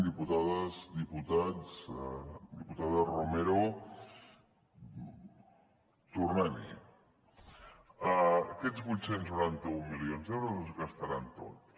diputades diputats diputada romero tornem hi aquests vuit cents i noranta un milions d’euros es gastaran tots